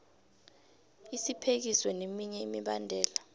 isiphekiso neminye imibandela